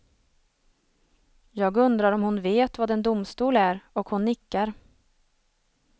Jag undrar om hon vet vad en domstol är, och hon nickar.